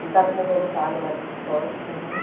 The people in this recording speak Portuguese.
Ele está como voluntário lá do Quixote também.